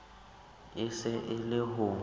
e se e le ho